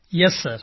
Yes sir